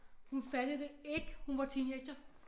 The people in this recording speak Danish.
Hun fattede det ikke hun var teenager